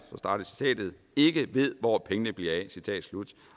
ikke ved hvor pengene bliver af